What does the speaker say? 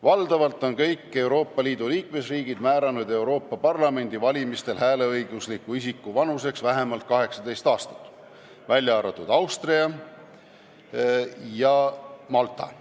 Valdavalt on Euroopa Liidu liikmesriigid määranud Euroopa Parlamendi valimistel hääleõigusliku isiku vanuseks vähemalt 18 aastat, välja arvatud Austria ja Malta.